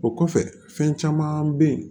O kɔfɛ fɛn caman bɛ yen